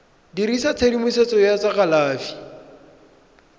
dirisa tshedimosetso ya tsa kalafi